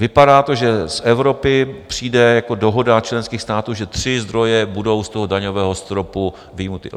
Vypadá to, že z Evropy přijde jako dohoda členských států, že tři zdroje budou z toho daňového stropu vyjmuty.